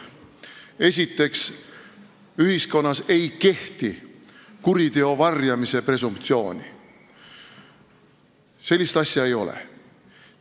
Esiteks, ühiskonnas ei kehti kuriteo varjamise presumptsiooni – sellist asja ei ole.